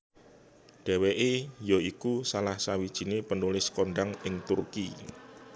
Dheweke ya iku salah sawijine penulis kondhang ing Turki